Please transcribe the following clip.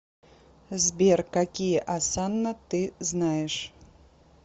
сбер какие осанна ты знаешь